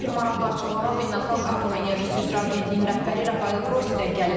Daha bir maraqlı açıqlama Beynəlxalq Atom Enerjisi üzrə Agentliyinin rəhbəri Rafael Qrossidən gəlib.